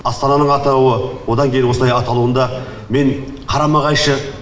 астананың атауы одан кейін осылай аталуында мен қарама қайшы